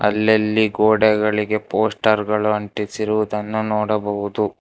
ಅಲ್ಲಲ್ಲಿ ಗೋಡೆಗಳಿಗೆ ಪೋಸ್ಟರ್ ಗಳು ಅಂಟಿಸಿರುವುದನ್ನು ನೋಡಬಹುದು.